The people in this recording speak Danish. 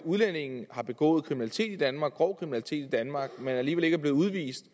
udlændinge har begået kriminalitet i danmark grov kriminalitet i danmark men alligevel ikke er blevet udvist